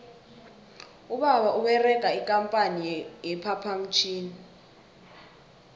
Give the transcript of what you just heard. ubaba uberega ikampani ye phaphamtjhini